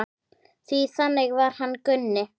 Því þannig var hann Gunni.